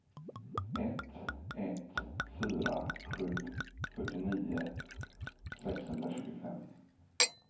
ett ett fyra sju fyrtionio sexhundratjugofem